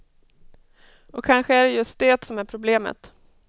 Och kanske är det just det som är problemet.